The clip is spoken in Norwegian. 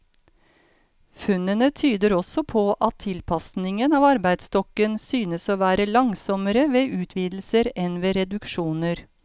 Funnene tyder også på at tilpasningen av arbeidsstokken synes å være langsommere ved utvidelser enn ved reduksjoner.